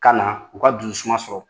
Ka na, u ka dusu suma sɔrɔ.